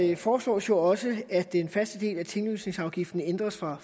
der foreslås jo også at den faste del af tinglysningsafgiften ændres fra